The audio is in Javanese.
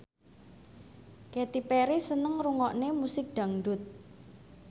Katy Perry seneng ngrungokne musik dangdut